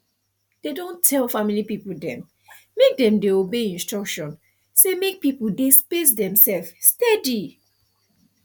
dem don tell family people dem make dem dey obey instruction say make people dey space demsef steady